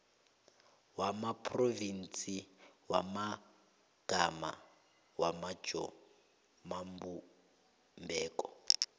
wamaphrovinsi wamagama wamajamobumbeko